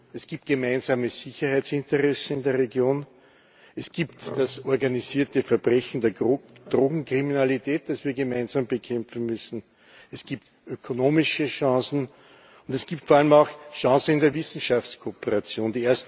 Es gibt gemeinsame Sicherheitsinteressen in der Region, es gibt das organisierte Verbrechen der Drogenkriminalität, das wir gemeinsam bekämpfen müssen, es gibt ökonomische Chancen, und es gibt vor allem auch Chancen in der Wissenschaftskooperation.